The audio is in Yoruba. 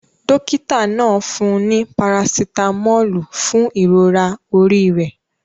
Dókítà náà fún un ní parasitámọ́lù fún ìrora orí rẹ̀.